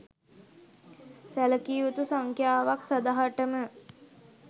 සැළකිය යුතු සංඛ්‍යාවක් සදහටම